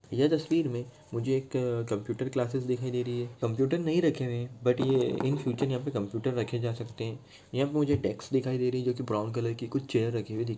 यह तस्वीर में मुझे एक कंप्यूटर क्लासेस दिखाई दे रही है कंप्यूटर नहीं रखे हुए है बट ये इन फिउचर कंप्यूटर रखे जा सकते यहाँ पे मुझे एक डेक्स नजर आ रही है जो की ब्राउन कलर की कुछ चेयर दिख--